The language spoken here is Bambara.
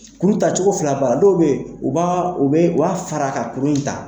Kuru taa cogo fila ba la, dɔw bɛ u b'a u bɛ u b'a fara ka kurun in ta.